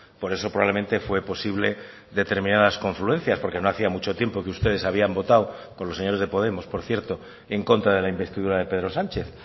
por eso probablemente fue posible determinadas confluencias porque no hacía mucho tiempo que ustedes habían votado con los señores de podemos por cierto en contra de la investidura de pedro sánchez